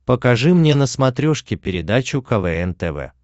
покажи мне на смотрешке передачу квн тв